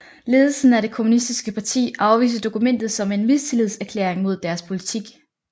Ledelsen af det kommunistiske parti afviste dokumentet som en mistillidserklæring mod deres politik